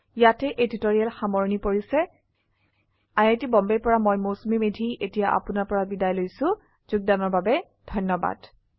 ইয়াতে এই টিউটৰীয়েল সামৰনি পৰিছে আই আই টী বম্বে ৰ পৰা মই মৌচুমী মেধী এতিয়া আপুনাৰ পৰা বিদায় লৈছো যোগদানৰ বাবে ধন্যবাদ